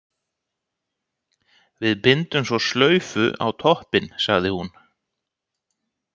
Við bindum svo slaufu á toppinn, sagði hún.